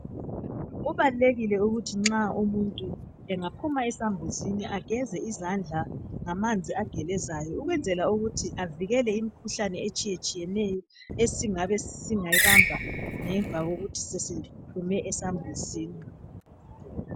Kubalulekile ukuthi nxa umuntu engaphuma ezambuzini ageze izandla ngamanzi agelezayo ukwenzela ukuthi avikele imikhuhlane etshiyeneyo esingabe singayibamba ngemva kokuthi sesiphume ezambuzini